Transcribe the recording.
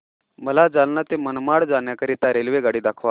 मला जालना ते मनमाड जाण्याकरीता रेल्वेगाडी दाखवा